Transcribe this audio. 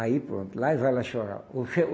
Aí pronto, lá e vai lá chorar. Oxe é